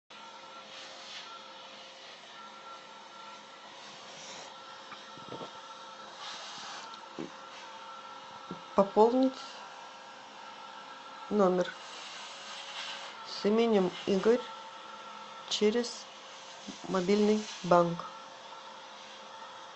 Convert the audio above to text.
пополнить номер с именем игорь через мобильный банк